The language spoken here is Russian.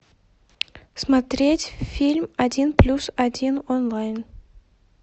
смотреть фильм один плюс один онлайн